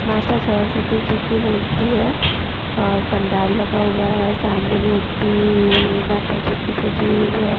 माता सरस्वती जी की मूर्ति है और पंडाल लगा हुआ है सामने मूर्ति माता जी की सजी हुई है।